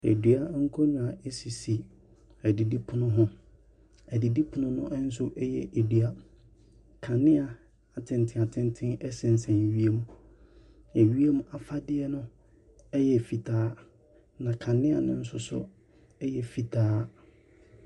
Dua nkonnwa sisi adidipono ho. Adidipono no nso yɛ dua. Kanea atenten atenten sesɛn wiem. Ewiem afadeɛ no yɛ fitaa, na kanea no nso so yɛ fitaa.